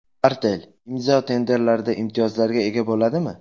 Artel, Imzo tenderlarda imtiyozlarga ega bo‘ladimi?